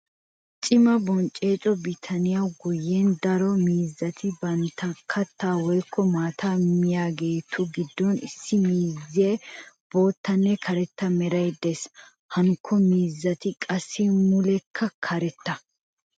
Cimaa bonchcho bitaniya guyyen daro miizzati bantta katta woykko maataa miyaagetu gidon issi miizzessi boottanne karetta meray de'ees. Hankko miizzati qassi mulekka karetta.